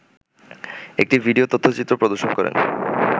একটি ভিডিও তথ্যচিত্র প্রদর্শন করেন